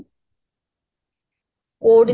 କୋଉଠି